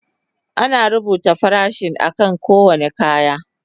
Ana rubuta farashin akan kowane kaya.